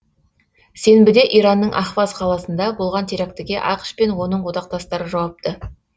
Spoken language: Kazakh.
сенбіде иранның ахваз қаласында болған терактіге ақш пен оның одақтастары жауапты